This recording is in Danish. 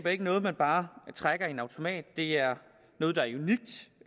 er ikke noget man bare trækker i en automat det er noget der